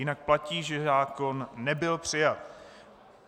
Jinak platí, že zákon nebyl přijat.